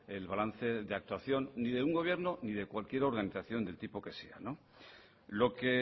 el balance de actuación ni de un gobierno ni de cualquier organización del tipo que sea lo que